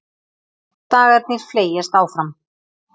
Dagarnir fleygjast áfram.